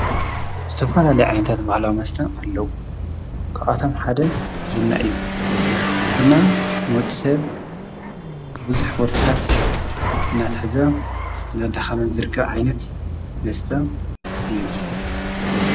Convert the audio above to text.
ዝተፋላልይዓይንታት በሃልዋ መስተ ኣለዉ ክኣቶም ሓደ ቡልና እዩ ብና ንወድሰብ ብብዙኅ ወልፍታት ናትሕዛ ናዳኻመን ዝርከ ዓይነት ንስተ እዩ።